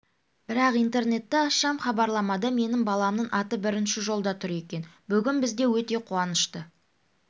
бірақ интернетті ашсам хабарламада менің баламның аты бірінші жолда тұр екен бүгін бізде өте қуанышты